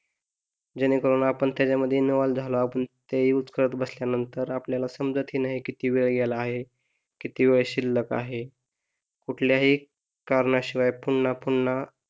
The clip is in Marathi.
जेणेकरून आपण त्याच्यामध्ये इन्व्हॉल्व्ह झालो आपण ते युझ करत बसल्यानंतर आपल्याला समजत ही नाही किती वेळ गेला आहे, किती वेळ शिल्लक आहे कुठल्याही कारणाशिवाय पुन्हा पुन्हा